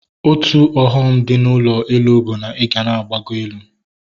Otu ọghọm dị na ụlọ elu bụ na ịga na-agbago elu